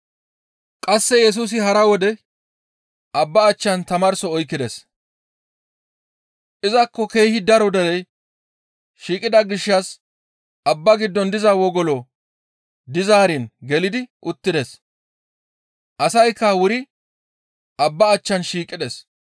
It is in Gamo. Qasse Yesusi hara wode abbaa achchan tamaarso oykkides. Izakko keehi daro derey shiiqida gishshas abbaa giddon diza wogolo dizaarin gelidi uttides; asaykka wuri abbaa achchan shiiqides.